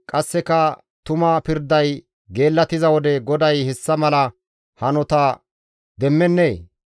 qasseka tuma pirday geellattiza wode GODAY hessa mala hanota demmennee?